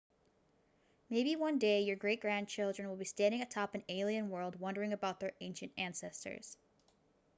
maybe one day your great grandchildren will be standing atop an alien world wondering about their ancient ancestors